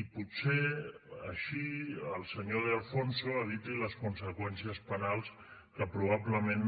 i potser així el senyor de alfonso eviti les conseqüències penals que probablement